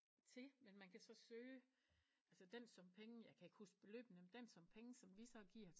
Til men man kan så søge altså den sum penge jeg kan ikke huske beløbene men dem sum penge som vi så giver